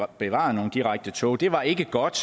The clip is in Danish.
bevaret nogle direkte tog det var ikke godt